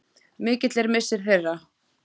Mikill er missir þeirra.